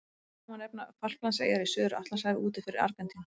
Sem dæmi má nefna Falklandseyjar í Suður-Atlantshafi úti fyrir Argentínu.